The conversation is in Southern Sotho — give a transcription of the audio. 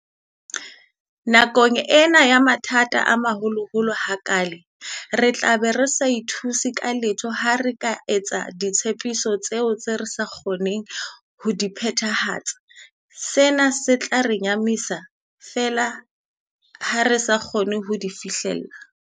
Nakong ena ya mathata a maholoholo ha kaale, re tlabe re sa ithuse ka letho ha re ka etsa ditshepiso tseo re senang ho kgona ho di phethahatsa, sena se tla re nyahamisa feela ha re sa kgone ho di fihlella.